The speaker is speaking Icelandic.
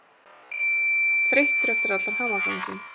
Þreyttur eftir allan hamaganginn.